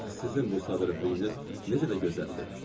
Ax, sizin bu sadəlövhlüyünüz necə də gözəldir!